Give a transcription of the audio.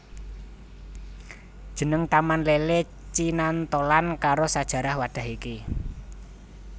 Jeneng Taman Lele cinantholan karo sajarah wadhah iki